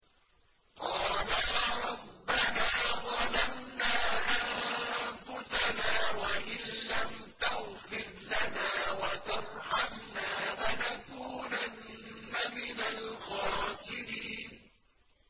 قَالَا رَبَّنَا ظَلَمْنَا أَنفُسَنَا وَإِن لَّمْ تَغْفِرْ لَنَا وَتَرْحَمْنَا لَنَكُونَنَّ مِنَ الْخَاسِرِينَ